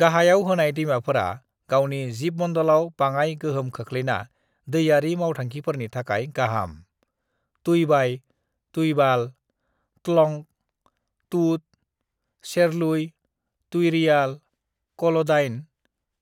"गाहायाव होनाय दैमाफोरा गावनि जिबमण्डलाव बाङाइ गोहोम खोख्लैना दैयारि मावथांखिफोरनि थाखाय गाहाम: तुईबाई, तुईबाल, त्लंग, टुट, सेरलुई, तुईरियाल, कल'डाइन,